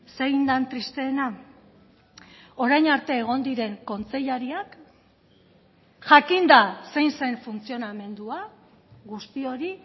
zein den tristeena orain arte egon diren kontseilariak jakinda zein zen funtzionamendua guzti hori